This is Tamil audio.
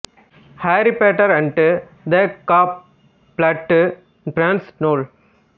aari Potter and the half blood prince நூல்